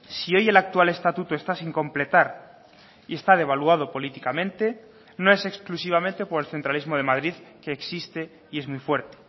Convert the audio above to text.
si hoy el actual estatuto está sin completar y está devaluado políticamente no es exclusivamente por el centralismo de madrid que existe y es muy fuerte